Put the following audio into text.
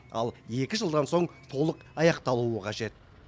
ал екі жылдан соң толық аяқталуы қажет